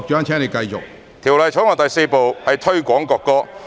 《條例草案》第4部是"推廣國歌"......